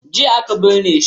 Jiya aka binne shi.